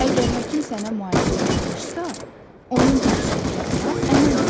Əgər həkim sənə müalicə yazmışsa, onun tapşırıqlarına əməl et.